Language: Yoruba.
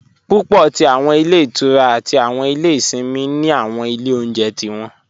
Púpọ̀ tí awọn ilẹ̀ ìtúrá àti awọn ilẹ̀ ìṣìnmi ni awọn ilẹ̀ ọ̀unjẹ̀ tí wọn.